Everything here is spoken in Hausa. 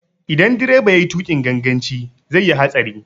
Idan direba yayi tuƙin ganganci zai yi hatsari.